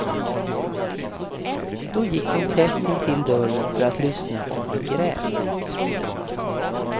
Då gick hon tätt intill dörren för att lyssna om han grät.